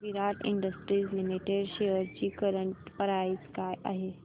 विराट industries limited shares ची current price काय आहे